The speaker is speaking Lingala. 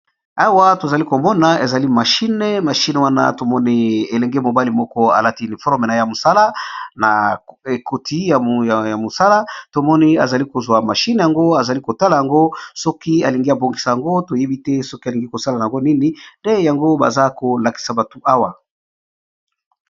awa tozali komona ezali mashine mashine wana tomoni elenge mobali moko alati uniforme a ya mosala na ekoti ya mosala tomoni azali kozwa mashine yango azali kotala yango soki alingi abongisa yango toyebi te soki alingi kosala yango nini de yango baza kolakisa batu awa